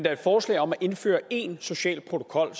er et forslag om at indføre én social protokol